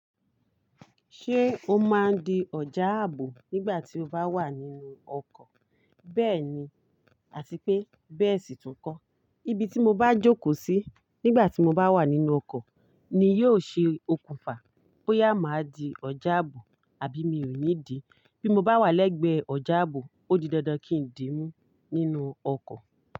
Ṣé o máa di ọ̀já ààbò nígbà tí o bá wà nínú ọkọ̀? Bẹ́ẹ̀ni àti pé bẹ́ẹ̀ sì tún kọ́. Ibi tí mo bá jókòó sí nígbà tí mo bá wà nínú ọkọ̀ ni yóò ṣe okùnfà bóyá màá di ọ̀já ààbò àbí mi ò ní di. Bí mo bá wà lẹ́gbẹ̀ẹ́ ọ̀já ààbò, ó di dandan kí n di mú nínú ọkọ̀